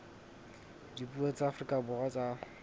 dipuo tsa afrika borwa tsa